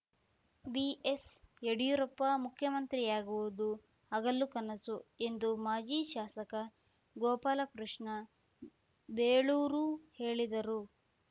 ಬಿಎಸ್‌ಯಡಿಯೂರಪ್ಪ ಮುಖ್ಯಮಂತ್ರಿಯಾಗುವುದು ಹಗಲು ಕನಸು ಎಂದು ಮಾಜಿ ಶಾಸಕ ಗೋಪಾಲಕೃಷ್ಣ ಬೇಳೂರು ಹೇಳಿದರು